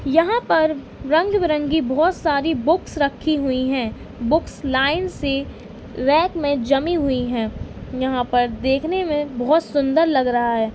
यहाँ पर रंग विरंगी बहुत सारी बुक्स रखी हुई हैं। बुक्स लाइन से रैक में जमी हुई हैं। यहाँ पर देखने में बहुत सुन्दर लग रहा है।